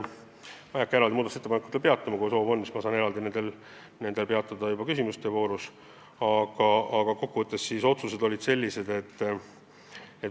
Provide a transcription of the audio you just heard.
Ma ei hakka muudatusettepanekutel ükshaaval peatuma, kui soovi on, siis ma saan neid kommenteerida küsimuste voorus.